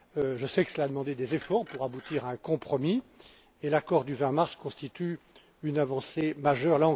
Je sais que cela a demandé des efforts pour aboutir à un compromis et l'accord du 20mars constitue une avancée majeure.